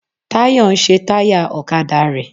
Táyọ̀ ń ṣe táyà ọ̀kadà rẹ.